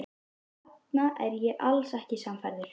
Þarna er ég alls ekki sannfærður.